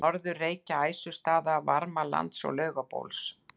Norður-Reykja, Æsustaða, Varmalands og Laugabóls.